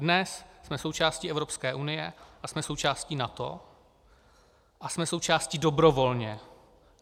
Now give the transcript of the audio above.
Dnes jsme součástí Evropské unie a jsme součástí NATO, a jsme součástí dobrovolně.